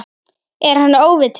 Er hann óviti?